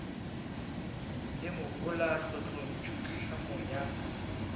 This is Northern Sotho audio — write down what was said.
le mohola tlotlontšu tlhamo ya